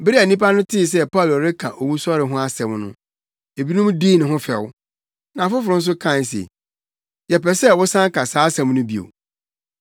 Bere a nnipa no tee sɛ Paulo reka owusɔre ho asɛm no, ebinom dii ne ho fɛw, na afoforo nso kae se, “Yɛpɛ sɛ wosan ka saa asɛm no bio.”